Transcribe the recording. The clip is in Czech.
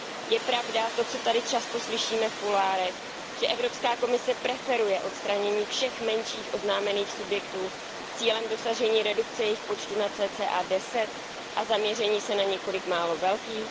Je pravda to, co tady často slyšíme v kuloárech, že Evropská komise preferuje odstranění všech menších oznámených subjektů s cílem dosažení redukce jejich počtu na cca 10 a zaměření se na několik málo velkých?